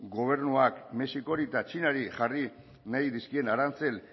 gobernuak mexikori eta txinari jarri nahi dizkien arantzel